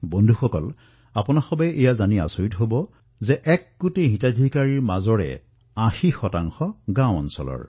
বন্ধুসকল আপোনালোকে এয়া জানি আচৰিত হব যে এক কোটি হিতাধিকাৰীৰ মাজত ৮০ শতাংশই হল গ্ৰামীণ এলেকাৰ